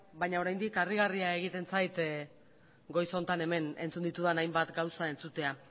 baina oraindik harrigarria egiten zait goiz honetan hemen entzun ditudan hainbat gauza entzutea